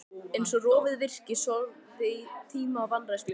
Eins og rofið virki, sorfið af tíma og vanrækslu.